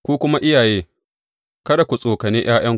Ku kuma iyaye, kada ku tsokane ’ya’yanku.